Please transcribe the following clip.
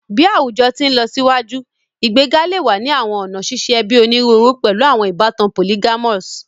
Bi awujọ ti nlọsiwaju, igbega le wa ni awọn ọna ṣiṣe ẹbi oniruuru, pẹlu awọn ibatan polyamorous